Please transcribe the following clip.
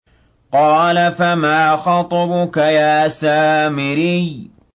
قَالَ فَمَا خَطْبُكَ يَا سَامِرِيُّ